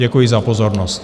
Děkuji za pozornost.